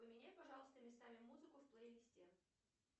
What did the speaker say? поменяй пожалуйста местами музыку в плейлисте